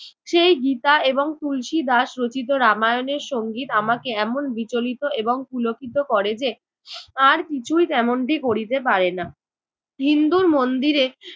সেই গীতা এবং তুলসী দাস রচিত রামায়ণের সংগীত আমাকে এমন বিচলিত এবং পুলকিত করে যে আর কিছুই তেমনটি করিতে পারে না। হিন্দুর মন্দিরে